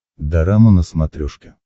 дорама на смотрешке